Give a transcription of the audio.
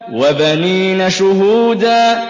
وَبَنِينَ شُهُودًا